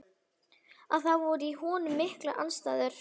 Að það voru í honum miklar andstæður.